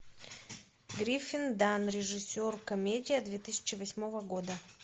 гриффин данн режиссер комедия две тысячи восьмого года